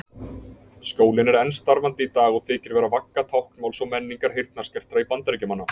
Skólinn er enn starfandi í dag og þykir vera vagga táknmáls og menningar heyrnarskertra Bandaríkjamanna.